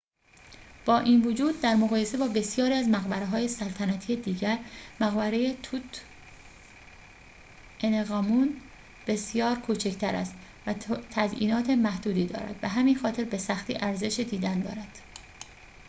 با این وجود در مقایسه با بسیاری از مقبره‌های سلطنتی دیگر مقبره توت‌عنخ‌آمون بسیار کوچک‌تر است و تزئینات محدودی دارد به همین خاطر به سختی ارزش دیدن دارد